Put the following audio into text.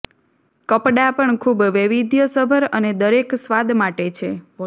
કપડાં પણ ખૂબ વૈવિધ્યસભર અને દરેક સ્વાદ માટે છે